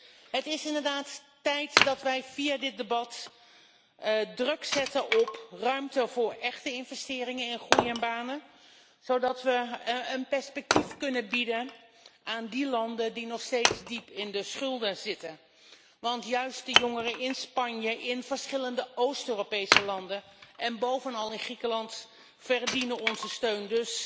Dus het is inderdaad tijd dat wij via dit debat druk zetten op ruimte voor echte investeringen en groei en banen, zodat we een perspectief kunnen bieden aan landen die nog steeds diep in de schulden zitten. Want juist de jongeren in Spanje, in verschillende Oost Europese landen en bovenal in Griekenland verdienen onze steun.